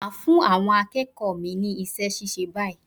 Mà á fún àwọn akéèkòó mi ní isé síse báyìí